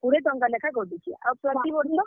କୁଡେ ଟଙ୍କା ଲେଖା କଟୁଛେ, ଆଉ ପ୍ରତି ବର୍ଷ, ।